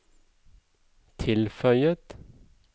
tilføyet